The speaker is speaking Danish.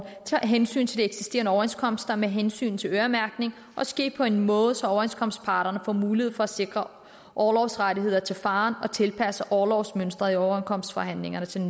tage hensyn til de eksisterende overenskomster med hensyn til øremærkning og ske på en måde så overenskomstparterne får mulighed for at sikre orlovsrettigheder til faren og tilpasse orlovsmønstret i overenskomstforhandlingerne til